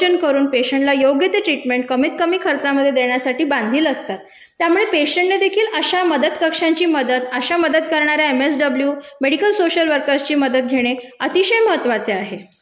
नियोजन करून पेशेंटला योग्य ते ट्रीटमेंट कमीत कमी खर्चामधे देण्यासाठी बांधील असतात, त्यामुले पेशेंटनेदेखील अशा मदत कक्षांची मदत, अशा मदत करणाऱ्या एमएसडब्लू, मेडिकल सोशिअल वर्कर्सची मदत घेणे अतिशय महत्वाचे आहे.